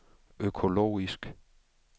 økologisk